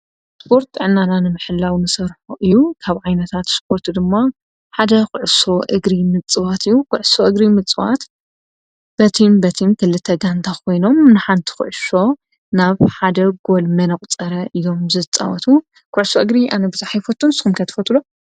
ስጶርት ዕናናንምሕላው ንሠርሖ እዩ ካብ ዓይነታት ስጶርቱ ድማ ሓደ ዂሱ እግሪ ምፅዋት እዩ ዂሱ እግሪ ምጽዋት በቲም በቲም ክልተ ጋንታ ኾይኖም ንሓንቲ ዂዕሶ ናብ ሓደ ጐል መነቝ ጸረ ኢሎም ዝጥወቱ ኲሶ እግሪ ኣነ ብዛሒይፈቱን ስምከትፈትሎ